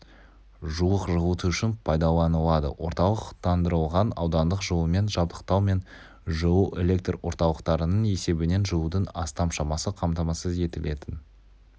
жуық жылыту үшін пайдаланылады орталықтандырылған аудандық жылумен жабдықтау мен жылу электр орталықтарының есебінен жылудың астам шамасы қамтамасыз етілетін